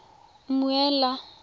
mmuela